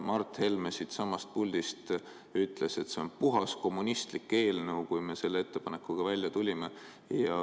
Mart Helme siitsamast puldist ütles, et see on puhas kommunistlik eelnõu, kui me selle ettepanekuga välja tulime.